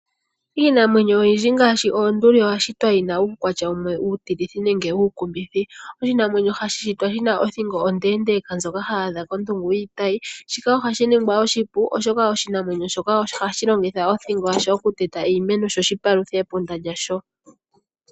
Iinamwenyo yimwe ngaashi oonduli oya shitwa yi na uukwatya uukumithi nenge ta wu tilitha. Oshinamwenyo shino oshi na othingo onde ndjoka hayi adha kondungu yiitayi. Oshinamwenyo shika ohashi shi ningilwa oshipu kothingo yasho opo shi lye omafo koondungu dhomiti.